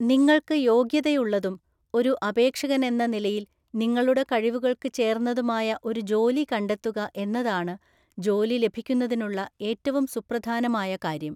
നിങ്ങൾക്ക് യോഗ്യതയുള്ളതും ഒരു അപേക്ഷകനെന്ന നിലയിൽ നിങ്ങളുടെ കഴിവുകൾക്ക് ചേർന്നതുമായ ഒരു ജോലി കണ്ടെത്തുക എന്നതാണ് ജോലി ലഭിക്കുന്നതിനുള്ള ഏറ്റവും സുപ്രധാനമായ കാര്യം.